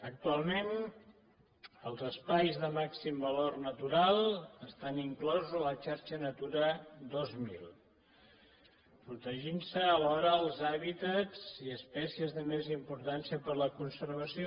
actualment els espais de màxim valor natural estan inclosos a la xarxa natura dos mil i se’n protegeixen alhora els hàbitats i espècies de més importància per a la conservació